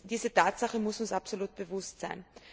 Diese Tatsache muss uns absolut bewusst sein.